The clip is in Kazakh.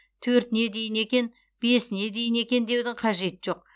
төртіне дейін екен бесіне дейін екен деудің қажеті жоқ